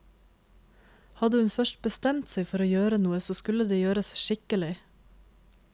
Hadde hun først bestemt seg for å gjøre noe, så skulle det gjøres skikkelig.